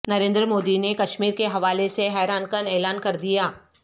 نریندر مودی نے کشمیرکے حوالے سے حیران کن اعلان کر دیا